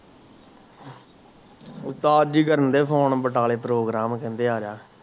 ਉਸਤਾਦ ਜੀ ਕਰਨ ਡਾਏ ਫੋਨ ਬਟਾਲੇ ਪ੍ਰੋਗਰਾਮ ਕਹਿੰਦੇ ਅਆਜਾ